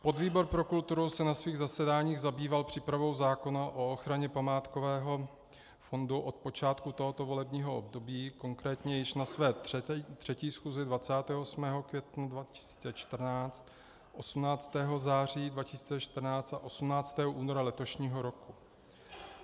Podvýbor pro kulturu se na svých zasedáních zabýval přípravou zákona o ochraně památkového fondu od počátku tohoto volebního období, konkrétně již na své 3. schůzi 28. května 2014, 18. září 2014 a 18. února letošního roku.